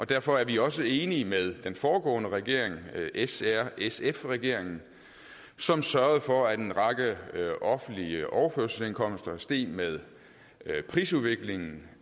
derfor er vi også enige med den foregående regering s r sf regeringen som sørgede for at en række offentlige overførselsindkomster steg med prisudviklingen